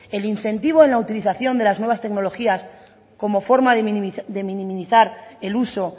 el incentivo en la utilización de las nuevas tecnologías como forma de minimizar el uso